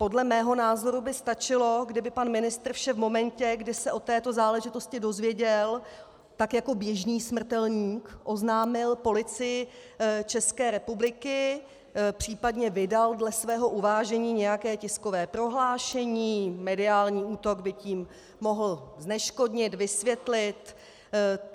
Podle mého názoru by stačilo, kdyby pan ministr vše v momentě, kdy se o této záležitosti dozvěděl, tak jako běžný smrtelník oznámil Policii České republiky, případně vydal dle svého uvážení nějaké tiskové prohlášení, mediální útok by tím mohl zneškodnit, vysvětlit.